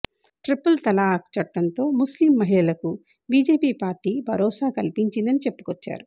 triple talaq చట్టంతో ముస్లిం మహిళలకు బీజేపీ పార్టీ భరోసా కల్పించిందని చెప్పుకొచ్చారు